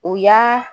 O y'a